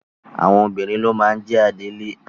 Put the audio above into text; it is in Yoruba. Obìnrin ló máa ń jẹ adelé.